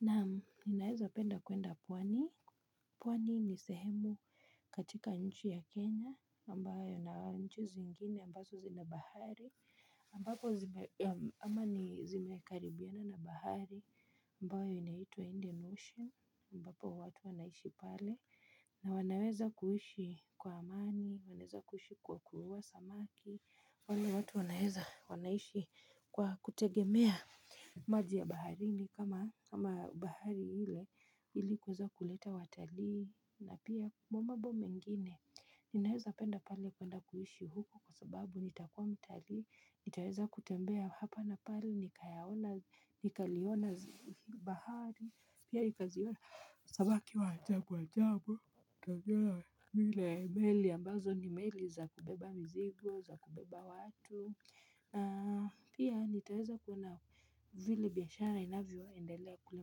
Naam naweza penda kuenda pwani, pwani ni sehemu katika nchi ya Kenya, ambayo na nchi zingine ambazo zina bahari, ambapo zimekaribiana na bahari, ambayo inaitwa Indian Ocean, ambapo watu wanaishi pale. Na wanaweza kuishi kwa amani, wanaweza kuishi kwa kuvua samaki, wale watu wanaweza wanaishi kwa kutegemea maji ya baharini kama bahari ile ili kuweza kuleta watali na pia mambo mengine. Ninaweza penda pale kwenda kuishi huko kwa sababu nitakuwa mtalii, nitaweza kutembea hapa na pale nikayaona, nikaliona bahari, pia ukaziona samaki wa ajabu ajabu, nitaweza meli ambazo ni meli za kubeba mizigo za kubeba watu pia nitaweza kuona vile biashara inavyo endelea kule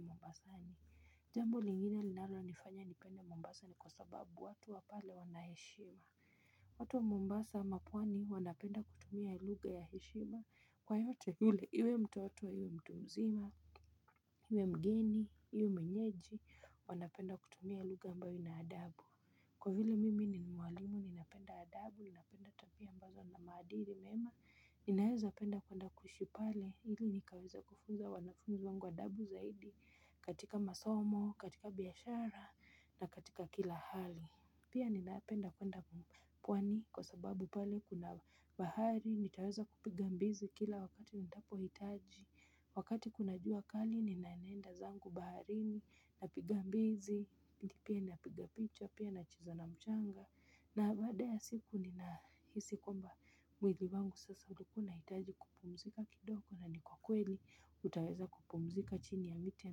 mombasani. Jambo lingine linalo nifanya nipende mombasa ni kwa sababu watu wa pale wana heshima watu wa mombasa ama pwani wanapenda kutumia lugha ya heshima kwa yeyote iwe mtoto iwe mtu mzima iwe mgeni iwe mwenyeji wanapenda kutumia lugha ambayo ina adabu kwa vle mimi ni mwalimu ninapenda adabu ninapenda tabia ambazo zinamaadiri mema ninaweza penda kwanda kuishi pale ili nikaweza kufunza wanafunzi wangu adabu zaidi katika masomo, katika biashara na katika kila hali pia ninapenda kwenda pwani kwa sababu pale kuna bahari nitaweza kupiga mbizi kila wakati nitapo hitaji wakati kuna jua kali ninanenda zangu baharini napiga mbizi, pia napiga picha, pia nacheza na mchanga na baada ya siku nina hisi kwamba mwili wangu sasa ulikuwa unahitaji kupumzika kidogo na ni kwa kweli utaweza kupumzika chini ya miti ya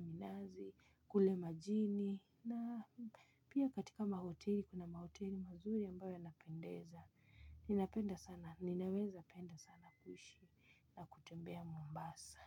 minazi, kule majini na pia katika mahoteli kuna mahoteli mazuri ambayo yanapendeza ninaweza penda sana kuishi na kutembea mombasa.